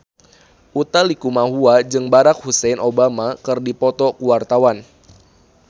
Utha Likumahua jeung Barack Hussein Obama keur dipoto ku wartawan